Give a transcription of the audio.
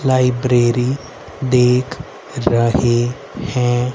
Library देख रहे हैं।